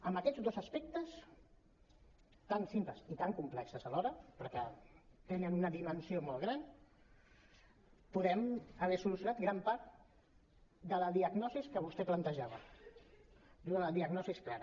amb aquests dos aspectes tan simples i tan complexos alhora perquè tenen una dimensió molt gran podem haver solucionat gran part de la diagnosi que vostè plantejava i una diagnosi clara